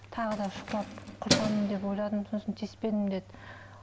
тағы да шұқылап құртамын деп ойладым сосын тиіспедім деді